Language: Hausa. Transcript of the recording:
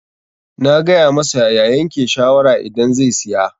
Na gaya masa ya yanke shawara idan zai siya.